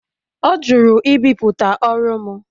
Ọ jụrụ ibipụta ọrụ m